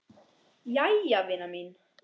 Jæja vina mín.